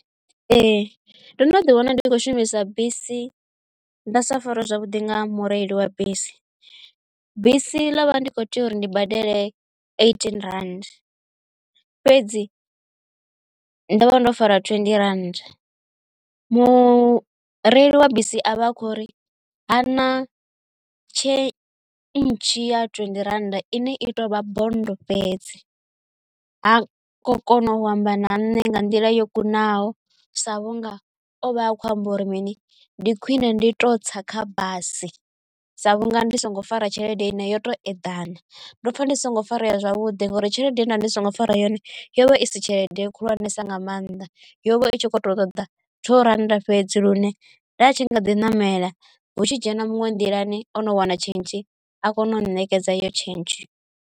Ee ndo no ḓi wana ndi khou shumisa bisi nda sa fariwe zwavhudi nga mureili wa bisi, bisi ḽovha ndi kho tea uri ndi badele eighteen rand fhedzi ndo vha ndo farwa twenty rannda mureili wa bisi avha a kho ri ha na tshentshi ya twendi rannda ine i tovha bondo fhedzi ha kho kona u amba na ṋne nga nḓila yo kunaho sa vhunga o vha a kho amba uri mini ndi khwine ndi to tsa kha basi sa vhunga ndi songo fara tshelede ine yoto eḓana. Ndopfa ndi songo farea zwavhuḓi ngauri tshelede nda ndi songo fara yone yo vha i si tshelede khulwanesa nga maanḓa yo vha itshi kho to ṱoḓa tsho rannda fhedzi lune nda atshi nga ḓi namela hu tshi dzhena munwe nḓilani ono wana tshentshi a kone u nṋekedza yo tshentshe.